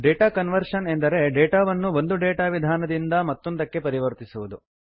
data conversion ಎಂದರೆ data ವನ್ನು ಒಂದು ಡೇಟಾ ವಿಧಾನದಿಂದ ನಿಂದ ಮತ್ತೊಂದಕ್ಕೆ ಪರಿವರ್ತಿಸುವುದು